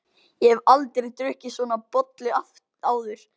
Ég hef aldrei drukkið svona bollu áður.